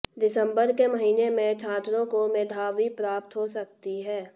दिसंबर के महीने में छात्रों को मेधावी प्राप्त हो सकती है